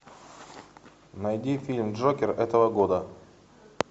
найди фильм джокер этого года